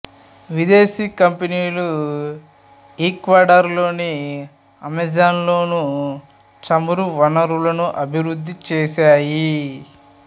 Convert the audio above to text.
విదేశీ కంపెనీలు ఈక్వడార్ లోని అమెజాన్లో చమురు వనరులను అభివృద్ధి చేశాయి